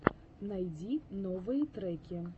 найти топовые треки